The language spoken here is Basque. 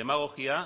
demagogia